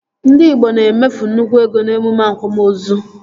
Ndị igbo na-emefu nnukwu ego n'emume akwamozu